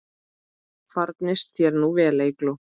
Farnist þér nú vel, Eygló.